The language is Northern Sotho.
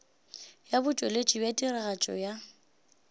ya botšweletši bja tiragatšo ya